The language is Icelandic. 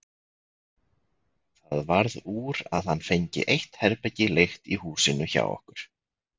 Það varð úr að hann fengi eitt herbergi leigt í húsinu hjá okkur.